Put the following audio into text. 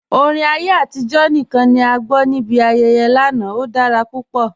Orin ayé atijọ̀ níkan ni a gbọ́ ni ibi ayẹyẹ́ lánà, ó dára pupọ̀.